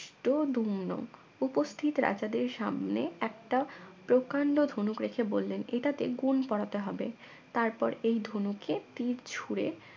উপস্থিত রাজাদের সামনে একটা প্রকাণ্ড ধনুক রেখে বললেন এটাতে গুণ পড়াতে হবে তারপর এই ধনুকে তীর ছুড়ে